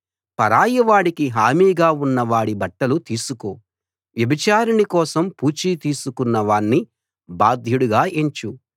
పరాయివాడికి హామీగా ఉన్నవాడి బట్టలు తీసుకో వ్యభిచారిణి కోసం పూచీ తీసుకున్న వాణ్ణి బాధ్యుడుగా ఎంచు